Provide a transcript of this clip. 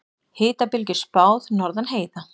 Hitabylgju spáð norðan heiða